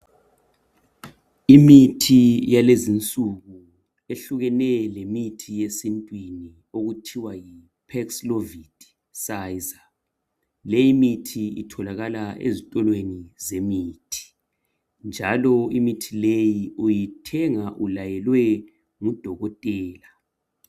Imithi yalezinsuku ehlukene lemithi yesintwini okuthiwa yi paxlovid pfizer. Leyimithi itholakala ezitolweni zemithi. Njalo imithi leyi uyithenga ulayelwe ngudokotela.